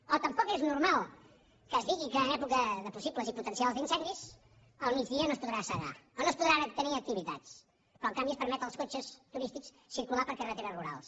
o tampoc és normal que es digui que en època de possibles i potencials incendis al migdia no es podrà segar o no es podran tenir activitats però en canvi es permet als cotxes turístics circular per carreteres rurals